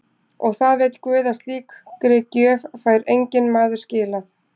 Og það veit guð að slíkri gjöf fær enginn maður skilað.